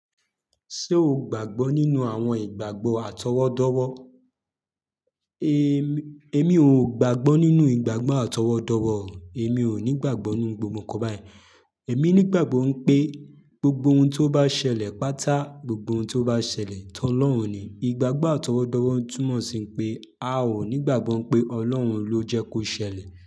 Ṣé o gbàgbọ́ nínú àwọn ìgbàgbọ́ àtọwọ́dọ́wọ́? É mi ò gbàgbọ́ nínú ìgbàgbọ́ àtọwọ́dọ́wọ́ o. Èmi ò ní ìgbàgbọ́ ninu gbogbo ǹkan báyen. Èmi ní ìgbàgbọ́ pé gbogbo ohun tó bá ṣẹlẹ̀ pátá, gbogbo ohun tó bá ṣẹlẹ̀ ti Ọlọ́run ni. Ìgbàgbọ́ àtọwọ́dọ́wọ́ túnmọ̀ sí pé a ò ní ìgbàgbọ́ pé Ọlọ́run ló jẹ́ kó ṣẹlẹ̀